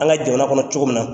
An ka jamana kɔnɔ cogo min na